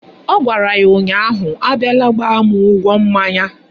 Ọ gwara ya ụnyaahụ "Abiala gbaa mụ ụgwọ mmanya"!